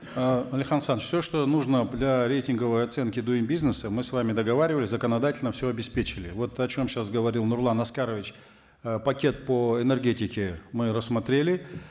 э алихан асханович все что нужно для рейтинговой оценки дуин бизнеса мы с вами договаривались законодательно все обеспечили вот о чем сейчас говорил нурлан аскарович э пакет по энергетике мы рассмотрели